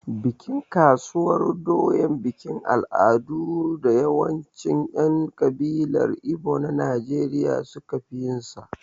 Bikin sabuwar doya bikin al'adu ne da yawancin 'yan kabilar Igbo na Najeriya suka fi yinsa.